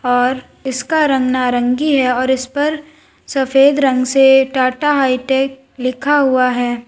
और इसका रंग नारंगी है और इस पर सफेद रंग से टाटा हाई-टेक लिखा हुआ है।